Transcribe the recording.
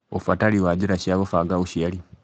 Ũbatari wa njĩra cia gũbanga ũciari